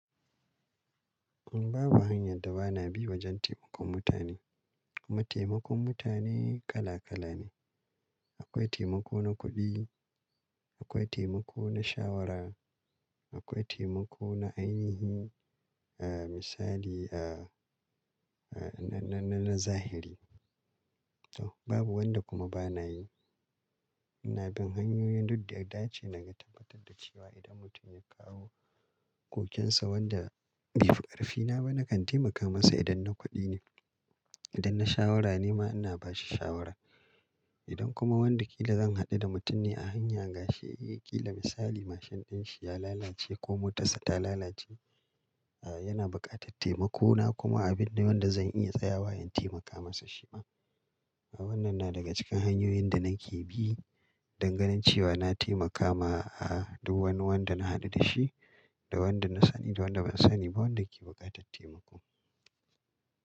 Babu hanyar da ba na bi wajen taimakon mutane. Kuma taimakon mutane kala kala ne. Akwai taimako na kuɗi, akwai taimako na shawara, akwai taimako na ainihi. A misali a, a na-na-na zahiri. To babu wanda kuma ba na yi. Ina bin hanyoyin duk da yada ce na ga tabbatar da cewa idan mutum ya kawo kokinsa wanda bai fi ƙarfina ba, na kan taimaka masa idan na kuɗi ne. Idan na shawara ne ma ina bashi shawara. Idan kuma wanda kila zan haɗu da mutum ne a hanya, gashi, kila misali mashin ɗinshi ya lalace ko motarsa ta lalace, yana buƙatar taimako na kuma abin ne wanda zan iya tsayawa in taimaka masa shi ma. Wannan na daga cikin hanyoyin da nake bi danganin cewa na taimakawa a duk wani wanda na haɗu da shi, da wanda na sani da wanda ban sani ba wanda ke buƙatar taimako.